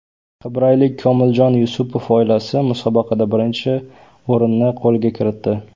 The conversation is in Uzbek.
Qibraylik Komiljon Yusupov oilasi musobaqada birinchi o‘rinni qo‘lga kiritdi.